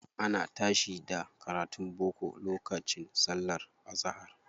Ana tashi da karatun boko lokacin sallar azahar.